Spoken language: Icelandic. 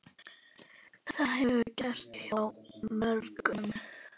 Það hefur gerst hjá mörgum.